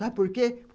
Sabe por quê?